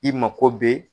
I mako bɛ